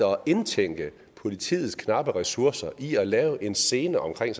indtænker politiets knappe ressourcer i at lave en scene omkring